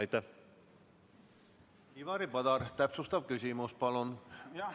Ivari Padar, täpsustav küsimus, palun!